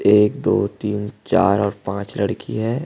एक दो तीन चार और पांच लड़की है।